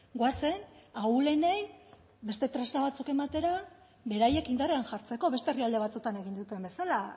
goazen ahulenei beste tresna batzuk ematera beraiek indarrean jartzeko beste herrialde batzuetan egin duten bezala